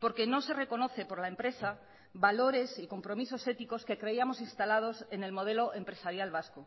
porque no se reconoce por la empresa valores y compromisos éticos que creíamos instalados en el modelo empresarial vasco